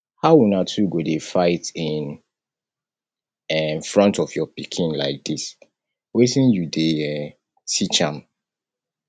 how una two go dey fight in um front of your pikin like dis wetin you dey um teach um am